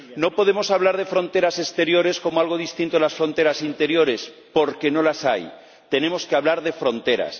No podemos hablar de fronteras exteriores como algo distinto a las fronteras interiores porque no las hay tenemos que hablar de fronteras.